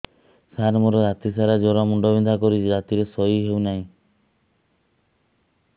ସାର ମୋର ରାତି ସାରା ଜ୍ଵର ମୁଣ୍ଡ ବିନ୍ଧା କରୁଛି ରାତିରେ ଶୋଇ ହେଉ ନାହିଁ